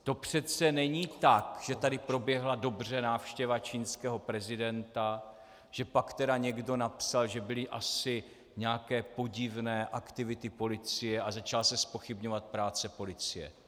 To přece není tak, že tady proběhla dobře návštěva čínského prezidenta, že pak tedy někdo napsal, že byly asi nějaké podivné aktivity policie a začala se zpochybňovat práce policie.